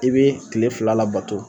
I bɛ kile fila labato.